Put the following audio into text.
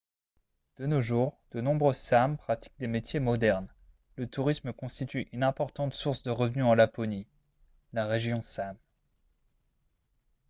de nos jours de nombreux sâmes pratiquent des métiers modernes le tourisme constitue une importante source de revenus en laponie la région sâme